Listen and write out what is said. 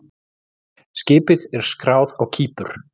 Skipið er skráð á Kípur.